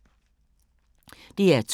DR2